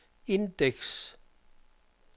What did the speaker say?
indeks